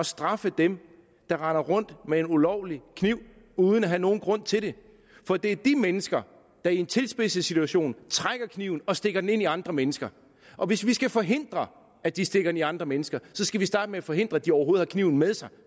straffe dem der render rundt med en ulovlig kniv uden at have nogen grund til det for det er de mennesker der i en tilspidset situation trækker kniven og stikker den ind i andre mennesker og hvis vi skal forhindre at de stikker den i andre mennesker skal vi starte med at forhindre at de overhovedet har kniven med sig